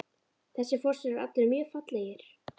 Þessir fossar eru allir mjög fallegir.